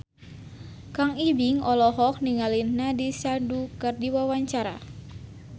Kang Ibing olohok ningali Nandish Sandhu keur diwawancara